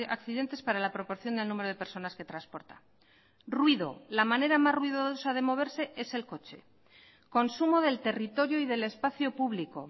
accidentes para la proporción del número de personas que transporta ruido la manera más ruidosa de moverse es el coche consumo del territorio y del espacio público